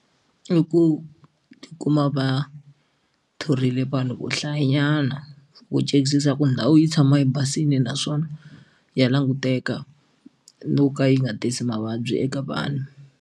I ku tikuma va thorile vanhu vo hlayanyana vo chekisisa ku ndhawu yi tshama yi basile naswona ya languteka no ka yi nga tisi mavabyi eka vanhu.